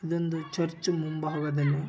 ಇದೊಂದು ಚರ್ಚ್‌ ಮುಂಭಾಗದಲ್ಲಿ ಚರ್ಚ್‌ ಮುಂಭಾಗದಲ್ಲಿ --